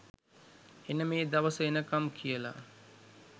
එන මේ දවස එනකම් කියලා.